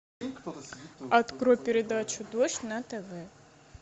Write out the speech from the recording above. открой передачу дождь на тв